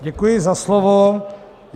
Děkuji za slovo.